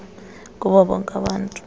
kubo bonke abantu